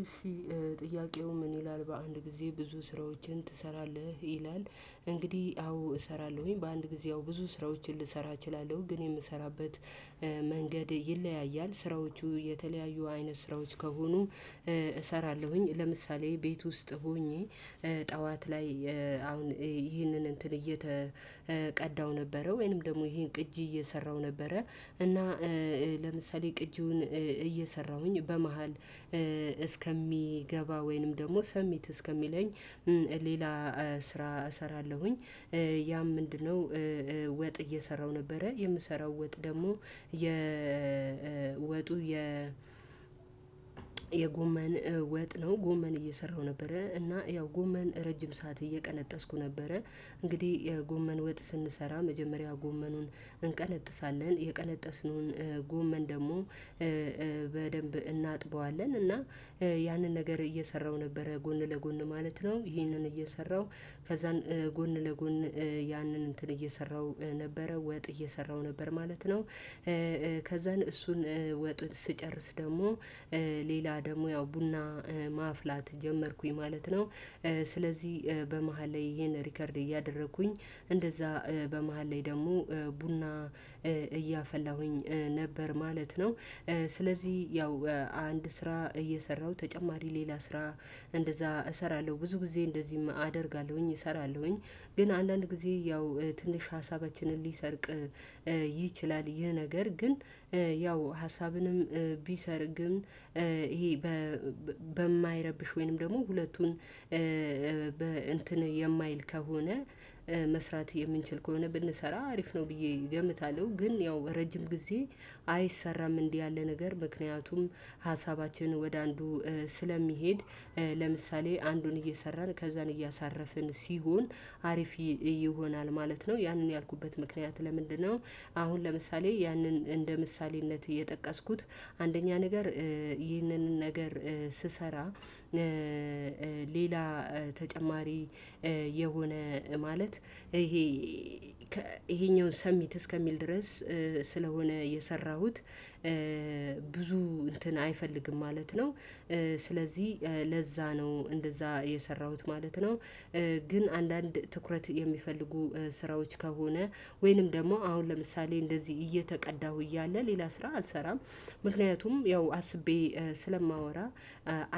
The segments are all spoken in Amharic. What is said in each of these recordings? እሺ ጥያቄው ምን ይላል በአንድ ጊዜ ብዙ ስራዎችን ትሰራለህ ይላል? እንግዲህ አዎ እሰራለሁኝ በአንድ ጊዜ አዎ ብዙ ስራዎችን ልሰራ እችላለሁ። ግን የምሰራበት መንገድ ይለያያል ስራዎቹ የተለያዩ አይነት ስራዎች ከሆኑ። እሰራለሁኝ ለምሳሌ ቤት ውስጥ ሆኜ ጠዋት ላይ አሁን ይህንን እየተቀዳው ነበረ ወይንም ደግሞ ይሄን ቅጂ እየሰራው ነበረ። እና ለምሳሌ ቅጂውን እየሰራሁኝ በመሃል እስከሚገባ ወይንም ደግሞ ሰሚት እስከሚለኝ ሌላ ስራ እሰራለሁኝ። ያም ምንድነው? ወጥ እየሰራው ነበረ የምሰራው ወጥ ደግሞ የወጡ የ የጎመን ወጥ ነው ጎመን እየሰራሁ ነበረ እና ያው ጎመን ረጅም ሰዓት እየቀነጠስኩ ነበረ። እንግዲህ የጎመን ወጥ ስንሰራ መጀመሪያ ጎመኑን እንቀነጥሳለን የቀለጠስነውን ጎመን ደግሞ በደንብ እናጥበዋለን። እና ያንን ነገር እየሰራሁ ነበረ ጎን ለጎን ማለት ነው ይህንን እየሰራሁ ከዛን ጎን ለጎን ያንን እንትን እየሰራሁ ነበረ ወጥ እየሰራሁ ነበር ማለት ነው። ከዛን እሱን ወጡን ስጨርስ ደግሞ ሌላ ደግሞ ያው ቡና ማፍላት ጀመርኩኝ ማለት ነው። ስለዚህ በመሃል ላይ ይሄን ሪከርድ እያደረኩኝ እንደዛ በመሃል ላይ ደግሞ ቡና እያፈላሁኝ ነበር ማለት ነው። ስለዚህ ያው አንድ ስራ እየሰራሁ ተጨማሪ ሌላ ስራ እንደዛ እሰራለሁ ብዙ ጊዜ እንደዚህም አደርጋለሁኝ እሰራለሁኝ ግን አንዳንድ ጊዜ ያው ትንሽ ሀሳባችንን ሊሰርቅ ይችላል። ይህ ነገር ግን ያው ሀሳብንም ቢሰርግም ይሄ በማይረብሽ ወይንም ደግሞ ሁለቱን እንትን የማይል ከሆነ መስራት የምንችል ከሆነ ብንሰራ አሪፍ ነው ብዬ እገምታለሁ። ግን ያው ረጅም ጊዜ አይሰራም እንዲህ ያለ ነገር ምክንያቱም ሀሳባችንን ወደ አንዱ ስለሚሄድ ለምሳሌ አንዱን እየሰራን ከዛን እያሳረፍን ሲሆን አሪፍ ይሆናል ማለት ነው። ያንን ያልኩበት ምክንያት ለምንድነው? አሁን ለምሳሌ ያንን እንደ ምሳሌነት እየጠቀስኩት አንደኛ ነገር ይህንን ነገር ስሰራ ሌላ ተጨማሪ የሆነ ማለት ይሄ ይሄኛውን ሰሚት እስከሚል ድረስ ስለሆነ የሰራሁት ብዙ እንትን አይፈልግም ማለት ነው። ስለዚህ ለዛ ነው እንደዛ የሰራሁት ማለት ነው። ግን አንዳንድ ትኩረት የሚፈልጉ ስራዎች ከሆነ ወይንም ደግሞ አሁን ለምሳሌ እንደዚህ እየተቀዳሁ እያለ ሌላ ስራ አልሰራም። ምክንያቱም ያው አስቤ ስለማወራ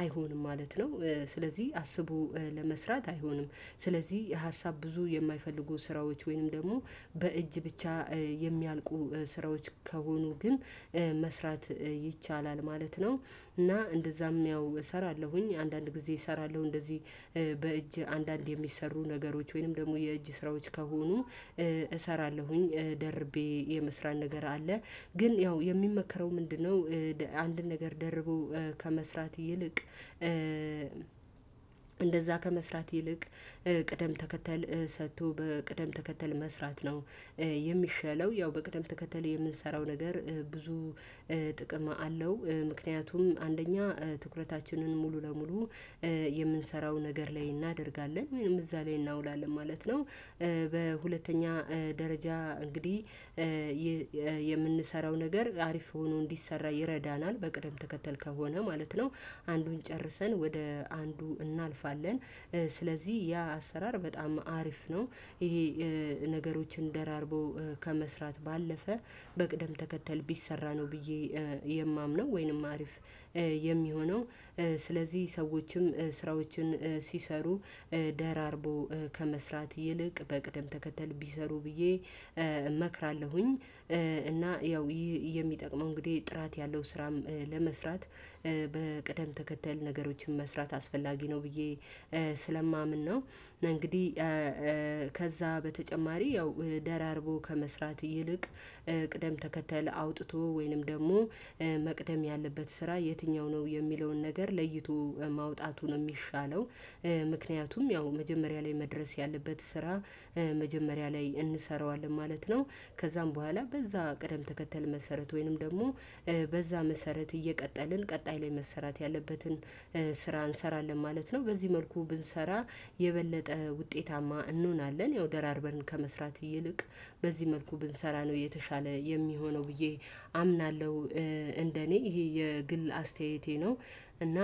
አይሆንም ማለት ነው። ስለዚህ አስቡ ለመስራት አይሆንም ስለዚህ ሀሳብ ብዙ የማይፈልጉ ስራዎች ወይንም ደግሞ በእጅ ብቻ የሚያልቁ ስራዎች ከሆኑ ግን መስራት ይቻላል ማለት ነው። እና እንደዛም ያው እሰራለሁኝ አንዳንድ ጊዜ እሰራለሁ እንደዚህ። በእጅ አንዳንድ የሚሰሩ ነገሮች ወይንም ደግሞ የእጅ ስራዎች ከሆኑ እሰራለሁኝ ደርቤ የመስራት ነገር አለ። ግን ያው የሚመከረው ምንድነው? አንድን ነገር ደርቦ ከመስራት ይልቅ እንደዛ ከመስራት ይልቅ ቅደም ተከተል ሰጥቶ በቅደም ተከተል መስራት ነው። የሚሻለው ያው በቅደም ተከተል የምንሰራው ነገር ብዙ ጥቅም አለው ምክንያቱም አንደኛ ትኩረታችንን ሙሉ ለሙሉ የምንሰራው ነገር ላይ እናደርጋለን ወይም እዛ ላይ እናውላለን ማለት ነው። በሁለተኛ ደረጃ እንግዲህ የምንሰራው ነገር አሪፍ ሆኖ እንዲሰራ ይረዳናል በቅደም ተከተል ከሆነ ማለት ነው። አንዱን ጨርሰን ወደ አንዱ እናልፋለን ስለዚህ ያ አሰራር በጣም አሪፍ ነው። ይሄ ነገሮችን ደራርቦ ከመስራት ባለፈ በቅደም ተከተል ቢሰራ ነው ብዬ የማምነው ወይንም አሪፍ የሚሆነው ስለዚህ ሰዎችም ስራዎችን ሲሰሩ ደራርቦ ከመስራት ይልቅ በቅደም ተከተል ቢሰሩ ብዬ እመክራለሁኝ። እና ያው ይህ የሚጠቅመው እንግዲህ ጥራት ያለው ስራም ለመስራት በቅደም ተከተል ነገሮችን መስራት አስፈላጊ ነው ብዬ ስለማምን ነው። እና እንግዲህ ከዛ በተጨማሪ ያው ደራርቦ ከመስራት ይልቅ ቅደም ተከተል አውጥቶ ወይንም ደግሞ መቅደም ያለበት ስራ የትኛው ነው የሚለውን ነገር ለይቶ ማውጣቱ የሚሻለው። ምክንያቱም ያው መጀመሪያ ላይ መድረስ ያለበት ስራ መጀመሪያ ላይ እንሰራዋለን ማለት ነው። ከዛም በኋላ በዛ ቀደም ተከተል መሰረት ወይንም ደግሞ በዛ መሰረት እየቀጠልን ቀጣይ ላይ መሰራት ያለበትን ስራ እንሰራለን ማለት ነው። በዚህ መልኩ ብንሰራ የበለጠ ውጤታማ እንሆናለን። ያው ደራርበርን ከመስራት ይልቅ በዚህ መልኩ ብንሰራ ነው የተሻለ የሚሆነው ብዬ አምናለሁ። እንደኔ ይሄ የግል አስተያየቴ ነው። እና